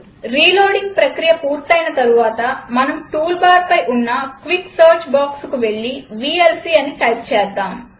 reloading ప్రక్రియ పూర్తైన తరువాత మనం టూల్బార్పై ఉన్న క్విక్ సెర్చ్ boxకు వెళ్లి వీఎల్సీ అని టైప్ చేద్దాం